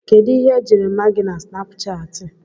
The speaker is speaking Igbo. Kedu ihe ejiri ma gi na Snapuchati?